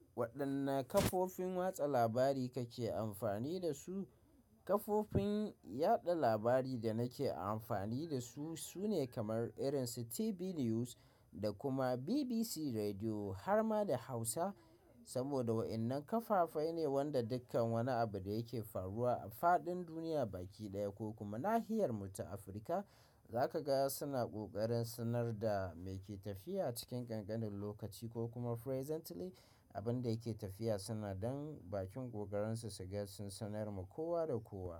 Waɗanne kafofin watsa labari kake amfani da su? Kafofin yaɗa labari da nake amfani da su sune kamar irin su TV News da kuma BBC Radio har ma da Hausa. Saboda wa'innan kafafai ne wanda dukkan wani abu da yake faruwa a faɗin duniya baki ɗaya ko kuma nahiyar mu ta Afirka, zaka ga suna kokarin sanar da mai ke tafiya cikin ƙanƙanin lokaci ko kuma presently abun da yake tafiya suna don bakin ƙoƙarin su su gaskatar da sanarwa kowa da kowa.